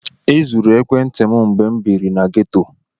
E zuru ekwentị m mgbe m biiri na geto.